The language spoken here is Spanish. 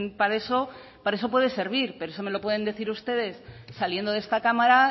para eso para eso puede servir pero eso me lo pueden decir ustedes saliendo de esta cámara